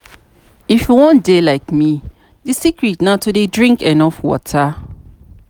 If you wan dey like me the secret na to dey drink enough water